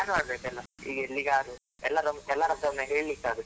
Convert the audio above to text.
Plan ಮಾಡ್ಬೇಕು ಎಲ್ಲ, ಈಗ ಎಲ್ಲಿಗಾದ್ರು ಎಲ್ಲರನ್ ಎಲ್ಲರತ್ರ ಒಮ್ಮೆ ಹೇಳಿಕ್ಕೆ ಆಗುತ್.